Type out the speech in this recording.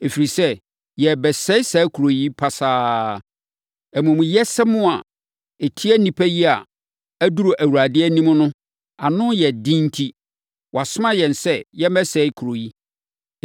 ɛfiri sɛ, yɛrebɛsɛe saa kuro yi pasaa. Amumuyɛsɛm a ɛtia nnipa yi a aduru Awurade anim no ano den enti, wasoma yɛn sɛ yɛmmɛsɛe kuro yi.”